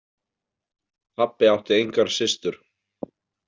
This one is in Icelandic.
Pabbi átti engar systur.